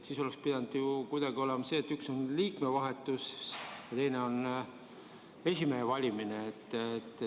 Siis oleks pidanud olema ju kuidagi nii, et üks on liikme vahetus ja teine on esimehe valimine.